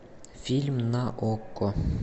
фильм на окко